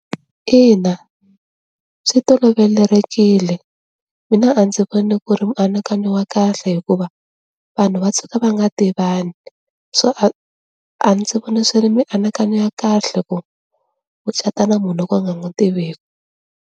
Ina swi tolovelerekile, mina a ndzi voni ku ri mianakanyo wa kahle hikuva vanhu va tshuka va nga tivani so a a ndzi vona swi ri mianakanyo ya kahle ku u cata na munhu wo ka u nga n'wi tiveki.